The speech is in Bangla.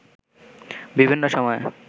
বিভিন্ন সময়ে